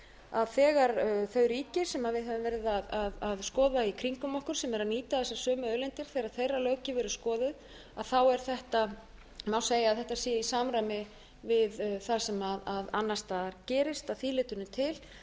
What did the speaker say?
að þegar þau ríki sem við höfum verið að skoða í kringum okkur sem eru að nýta þessar sömu auðlindir þegar þeirra löggjöf er skoðuð er þetta má segja að þetta sé í samræmi við það sem annars staðar gerist að því leytinu til